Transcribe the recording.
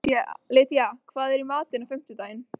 Lydía, hvað er í matinn á fimmtudaginn?